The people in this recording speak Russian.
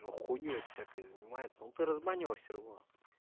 он хуйней всякой занимается но ты разбанила все равно